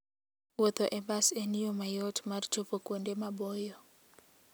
Wuotho e bas en yo mayot mar chopo kuonde maboyo.